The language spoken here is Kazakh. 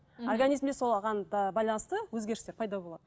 организмде соған да байланысты өзгерістер пайда болады